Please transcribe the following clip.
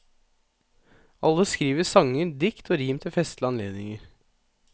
Alle skriver vi sanger, dikt og rim til festlige anledninger.